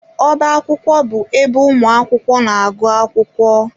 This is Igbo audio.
Ọbá akwụkwọ bụ ebe ụmụ akwụkwọ na-agụ akwụkwọ.